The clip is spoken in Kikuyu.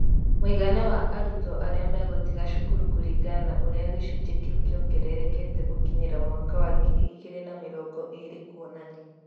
Mũigana wa arutwo arĩa megũtiga cukuru kũringana na ũrĩa gĩcunjĩ kĩu kĩongererekete gũkinyĩria mwaka wa ngiri igĩri na mĩrongo ĩrĩ kũonanio.